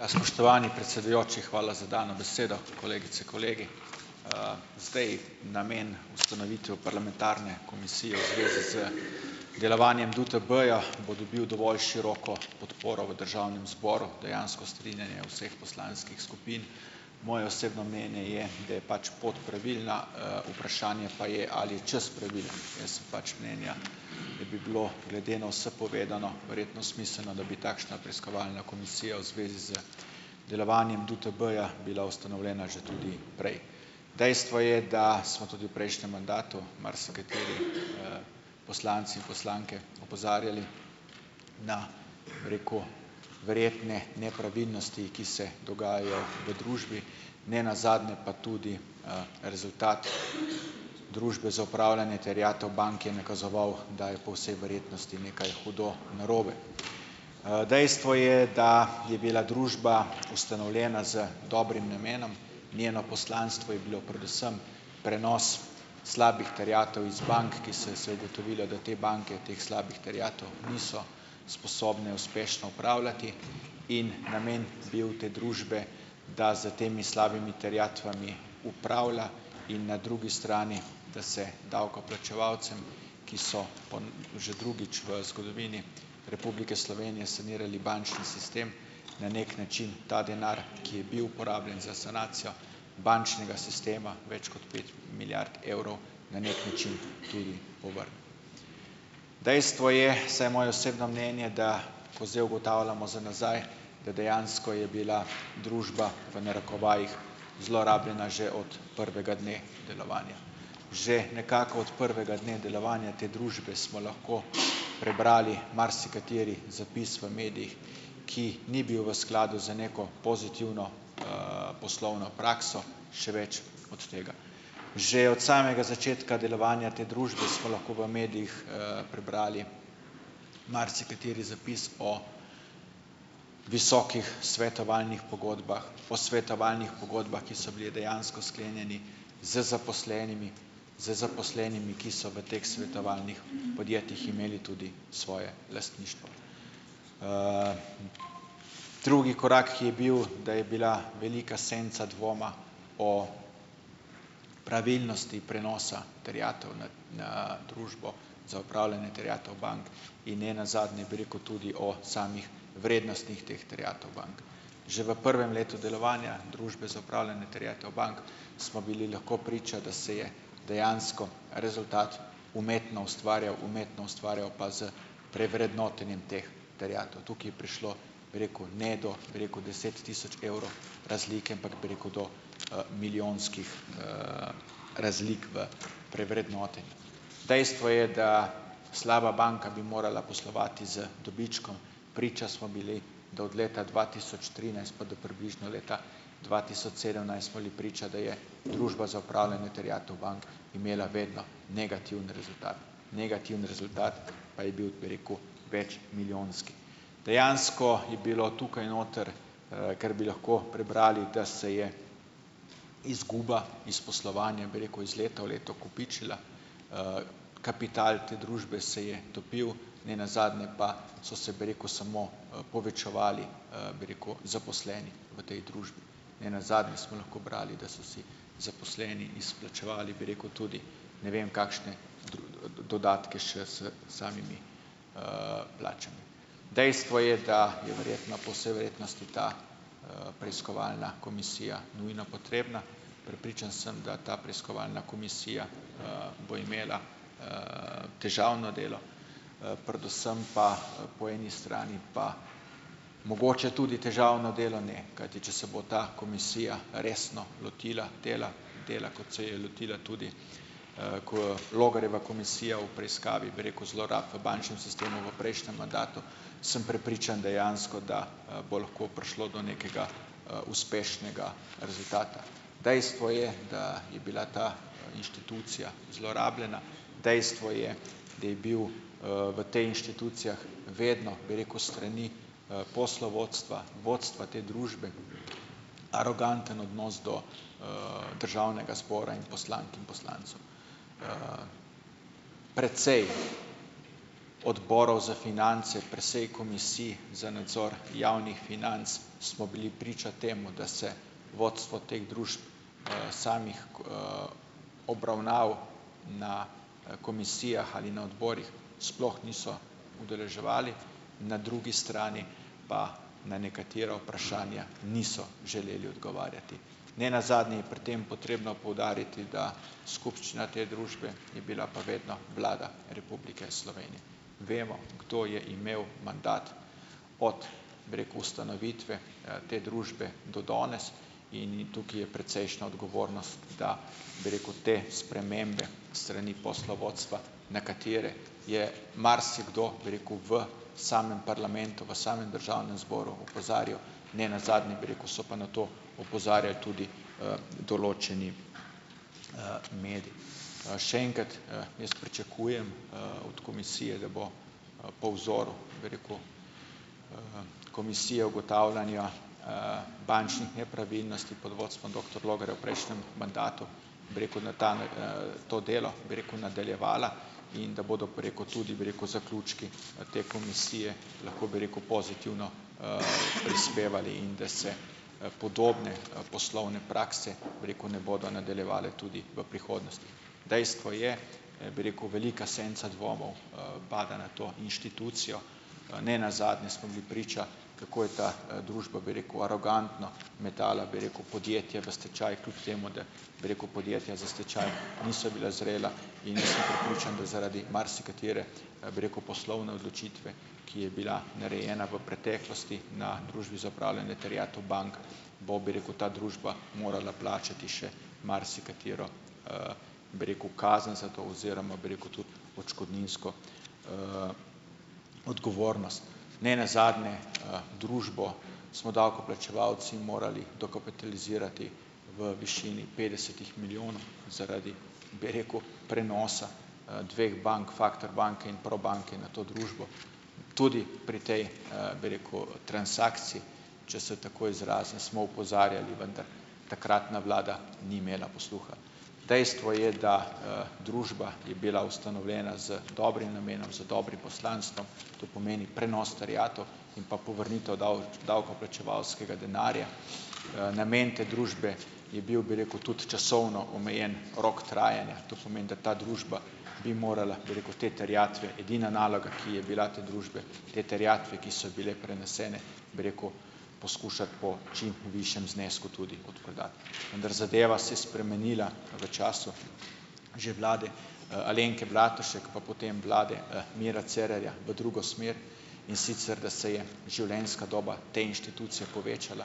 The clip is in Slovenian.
Ja, spoštovani predsedujoči, hvala za dano besedo. Kolegice, kolegi! zdaj namen ustanovitve parlamentarne komisije v zvezi z delovanjem DUTB-ja bo dobil dovolj široko podporo v državnem zboru, dejansko strinjanje vseh poslanskih skupin. Moje osebno mnenje je, da je pač pot pravilna, vprašanje pa je, ali je čas pravilen. Jaz sem pač mnenja, da bi bilo glede na vse povedano verjetno smiselno, da bi takšna preiskovalna komisija v zvezi z delovanjem DUTB-ja bila ustanovljena že tudi prej. Dejstvo je, da smo tudi v prejšnjem mandatu marsikateri, poslanci in poslanke opozarjali na, bi rekel, verjetno nepravilnosti, ki se dogajajo v družbi. Ne nazadnje pa tudi, rezultat Družbe za upravljanje terjatev bank je nakazoval, da je po vsej verjetnosti nekaj hudo narobe. dejstvo je, da je bila družba ustanovljena z dobrim namenom, njeno poslanstvo je bilo predvsem prenos slabih terjatev iz bank, ki se, se je ugotovilo, da te banke teh slabih terjatev niso sposobne uspešno upravljati. In namen bil te družbe, da s temi slabimi terjatvami upravlja in na drugi strani da se davkoplačevalcem, ki so že drugič v zgodovini Republike Slovenije sanirali bančni sistem, na neki način ta denar, ki je bil porabljen za sanacijo bančnega sistema, več kot pet milijard evrov, na neki način tudi povrne. Dejstvo je, vsaj moje osebno mnenje, da ko zdaj ugotavljamo za nazaj, da dejansko je bila družba v narekovajih, zlorabljena že od prvega dne delovanja. Že nekako od prvega dne delovanja te družbe smo lahko prebrali marsikateri zapis v medijih, ki ni bil v skladu z neko pozitivno, poslovno prakso, še več od tega. Že od samega začetka delovanja te družbe, smo lahko v medijih, prebrali marsikateri zapis o visokih svetovalnih pogodbah, o svetovalnih pogodbah, ki so bile dejansko sklenjene z zaposlenimi, z zaposlenimi, ki so v teh svetovalnih podjetjih imeli tudi svoje lastništvo. Drugi korak, ki je bil, da je bila velika senca dvoma o pravilnosti prenosa terjatev na, ne, Družbo za upravljanje terjatev bank in ne nazadnje, bi rekel, tudi o samih vrednostih teh terjatev bank. Že v prvem letu delovanja Družbe za upravljanje terjatev bank, smo bili lahko priča, da se je dejansko rezultat umetno ustvarjal, umetno ustvarjal pa z prevrednotenjem teh terjatev. Tukaj je prišlo, bi rekel, ne, do, bi rekel, deset tisoč evrov razlike, ampak, bi rekel, do, milijonskih, razlik v prevrednotenju. Dejstvo je, da slaba banka bi morala poslovati z dobičkom. Priča smo bili, da od leta dva tisoč trinajst pa do približno leta dva tisoč sedemnajst smo bili priča, da je Družba za upravljanje terjatev bank imela vedno negativen rezultat. Negativen rezultat pa je bil, bi rekel, večmilijonski. Dejansko je bilo tukaj noter, ker bi lahko prebrali, da se je izguba iz poslovanja, bi rekel, iz leta v leto kopičila, kapital te družbe se je topil, ne nazadnje pa so se, bi rekel, samo, povečevali, bi rekel, zaposleni v tej družbi. Ne nazadnje smo lahko brali, da so si zaposleni izplačevali, bi rekel, tudi ne vem kakšne dodatke še s samimi, plačami. Dejstvo je, da je verjetno po vsej verjetnosti ta, preiskovalna komisija nujno potrebna, prepričan sem, da ta preiskovalna komisija, bo imela, težavno delo, predvsem pa po eni strani pa mogoče tudi težavno delo, ne, kajti, če se bo ta komisija resno lotila dela, dela kot se je lotila tudi, kot Logarjeva komisija v preiskavi, bi rekel, zlorab v bančnem sistemu v prejšnjem mandatu, sem prepričan dejansko, da, bo lahko prišlo do nekega, uspešnega rezultata. Dejstvo je, daa je bila ta, inštitucija zlorabljena, dejstvo je, da je bil, v tej inštitucijah vedno, bi rekel, s strani, poslovodstva, vodstva te družbe aroganten odnos do, državnega zbora in poslank in poslancev. Precej odborov za finance, precej komisij za nadzor javnih financ, smo bili priča temu, da se vodstvo teh družb, samih, obravnav na, komisijah ali na odborih, sploh niso udeleževali. Na drugi strani pa na nekatera vprašanja niso želeli odgovarjati. Ne nazadnje je pri tem potrebno poudariti, da skupščina te družbe je bila pa vedno Vlada Republike Slovenije. Vemo, kdo je imel mandat od, bi rekel, ustanovitve, te družbe do danes in tukaj je precejšna odgovornost, da, bi rekel, te spremembe s strani poslovodstva, na katere je marsikdo, bi rekel, v samem parlamentu, v samem državnem zboru opozarjal, ne nazadnje, bi rekel, so pa na to opozarjali tudi, določeni, mediji. še en kot, jaz pričakujem, od komisije, da bo, po vzoru, bi rekel, komisije ugotavljanja, bančnih nepravilnosti pod vodstvom doktor Logarja v prejšnjem mandatu, bi rekel, na ta, to delo, bi rekel, nadaljevala in da bodo, bi rekel, tudi, bi rekel, zaključki, te komisije lahko, bi rekel, pozitivno, prispevali in da se, podobne, poslovne prakse, bi rekel, ne bodo nadaljevale tudi v prihodnosti. Dejstvo je, bi rekel, velika senca dvomov, pada na to inštitucijo. ne nazadnje smo bili priča, kako je ta, družba, bi rekel, arogantno metala, bi rekel, podjetje v stečaj, kljub temu da, bi rekel, podjetja za stečaj niso bila zrela, in sem prepričan, da zaradi marsikatere, bi rekel, poslovne odločitve, ki je bila narejena v preteklosti na Družbi za upravljanje terjatev bank, bo, bi rekel, ta družba morala plačati še marsikatero, bi rekel, kazen za to oziroma, bi rekel, tudi odškodninsko, odgovornost. Ne nazadnje, družbo smo davkoplačevalci morali dokapitalizirati v višini petdesetih milijonov zaradi, bi rekel, prenosa, dveh bank, Factor banke in Probanke, na to družbo tudi pri tej, bi rekel, transakciji, če se tako izrazim, smo opozarjali, vendar takratna vlada ni imela posluha. Dejstvo je, da, družba je bila ustanovljena z dobrim namenom, z dobrim poslanstvom, to pomeni prenos terjatev in pa povrnitev davkoplačevalskega denarja. namen te družbe je bil, bi rekel, tudi časovno omejen rok trajanja, to pomeni, da ta družba bi morala, bi rekel, te terjatve, edina naloga, ki je bila te družbe, te terjatve, ki so bile prenesene, bi rekel, poskušati po čim višjem znesku tudi odprodati. Vendar zadeva se je spremenila v času že vlade, Alenke Bratušek, pa potem vlade, Mira Cerarja v drugo smer, in sicer, da se je živlenjska doba te institucije povečala,